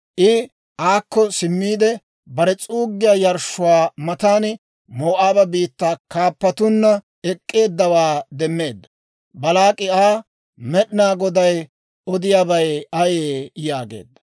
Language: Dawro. I aakko simmiide, bare s'uuggiyaa yarshshuwaa matan Moo'aaba biittaa kaappatunna ek'k'eeddawaa demmeedda. Baalaak'i Aa, «Med'inaa Goday odiyaabay ayee?» yaageedda.